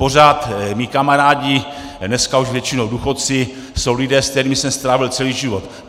Pořád mí kamarádi, dneska už většinou důchodci, jsou lidé, s kterými jsem strávil celý život.